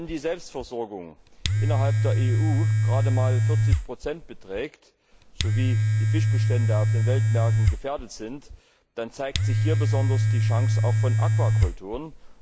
Wenn die Selbstversorgung innerhalb der EU gerade einmal 40 beträgt sowie die Fischbestände auf den Weltmärkten gefährdet sind, dann zeigt sich hier auch besonders die Chance von Aquakulturen.